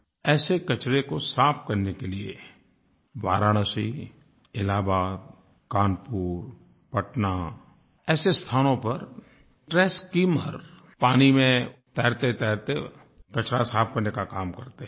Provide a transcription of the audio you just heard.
ऐसे कचरे को साफ़ करने के लिए वाराणसी इलाहाबाद कानपुर पटना ऐसे स्थानों पर ट्रैश स्किमर पानी में तैरतेतैरते कचरा साफ़ करने का काम करते हैं